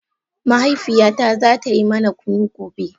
Mahaifiyata za ta yi mana kunu gobe.